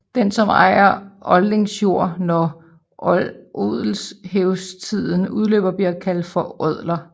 Den som ejer odlingsjord når odelshævdstiden udløber bliver kaldt for odler